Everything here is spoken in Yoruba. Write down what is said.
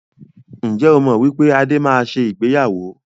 Ǹjẹ́ o mọ wípé Adé máa ṣe ìgbéyàwó?